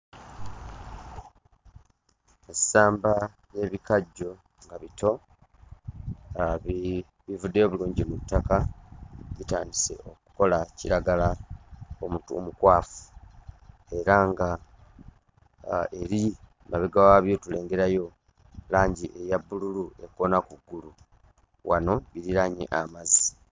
Ssamba y'ebikajjo nga bito nga bi bivuddeyo bulungi mu ttaka bitandise okukola kiragala omutu omukwafu era nga aa ebi mabega waabyo tulengerayo langi eya bbululu ekoona ku ggulu wano biriraanye amazzi.